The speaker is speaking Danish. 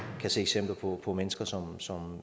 kan se eksempler på på mennesker som som